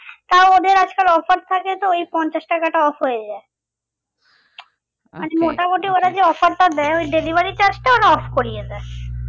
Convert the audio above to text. তাও ওদের আজকাল offer থাকে তো এই পঞ্চাশ টাকাটা off হয়ে যায় offer টা দেয় ওই delivery charge টা ওরা off করিয়ে দেয়